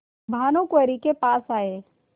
भानुकुँवरि के पास आये